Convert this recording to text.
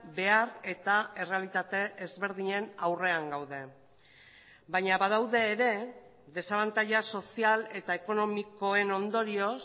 behar eta errealitate ezberdinen aurrean gaude baina badaude ere desabantaila sozial eta ekonomikoen ondorioz